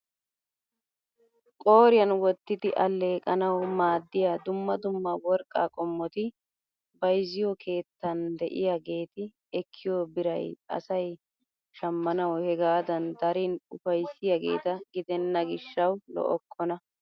Qooriyaan wottidi alleeqanawu maaddiyaa dumma dumma worqqaa qomoti bayzziyoo keettan de'iyaageti ekkiyoo biray asay shammanawu hegaadan darin upayssiyaageta gidenna gishshawu lo"okkona!